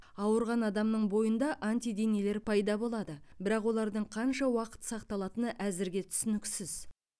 ауырған адамның бойында антиденелер пайда болады бірақ олардың қанша уақыт сақталатыны әзірге түсініксіз